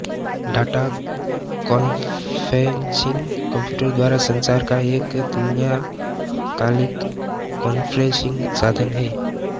data conferencing computer द्वारा संचार का एक तुल्यकालिक कॉन्फ्रेन्सिंग साधन है